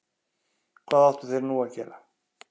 Hvað áttu þeir nú að gera?